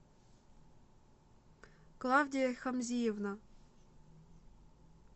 клавдия хамзиевна